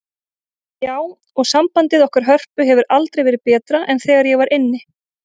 Já, og sambandið okkar Hörpu hefur aldrei verið betra en þegar ég var inni.